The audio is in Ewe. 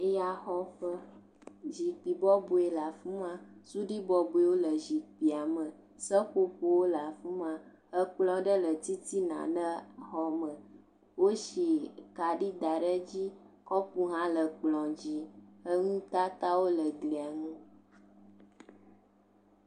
Ya xɔƒe zikpui bɔbɔe le afima suɖi bɔbɔewo le zikpuiame seƒoƒowo le afima kplɔ aɖe le titina ne xɔme wo si kaɖi da ɖe dzi kɔpo ha le kplɔ dzi nu tata wo le glia nu